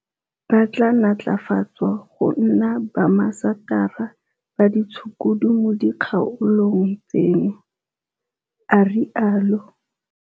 Ba tla natlafatswa go nna baambasatara ba ditshukudu mo dikgaolong tseno, a rialo.